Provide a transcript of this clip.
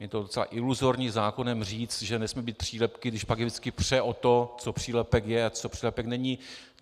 Je to docela iluzorní, zákonem říct, že nesmí být přílepky, když pak je vždycky pře o to, co přílepek je a co přílepek není.